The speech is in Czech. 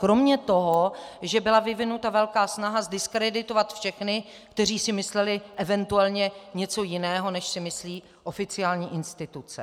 Kromě toho, že byla vyvinuta velká snaha zdiskreditovat všechny, kteří si mysleli eventuálně něco jiného než si myslí oficiální instituce.